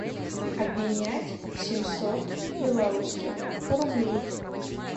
обменять семьсот белорусских рублей